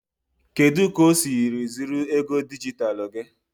kedu ka o siri zuru ego dijitalụ gị?